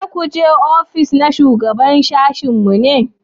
za ku je ofis na shugaban sashin mu ne?